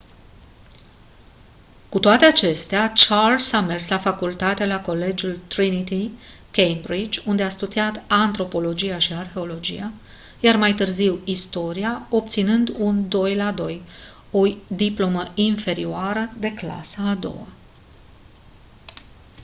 cu toate acestea charles a mers la facultate la colegiul trinity cambridge unde a studiat antropologia și arheologia iar mai târziu istoria obținând un 2:2 o diplomă inferioară de clasa a doua